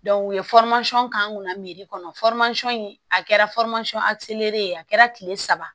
u ye k'an kunna miri kɔnɔ in a kɛra ye a kɛra kile saba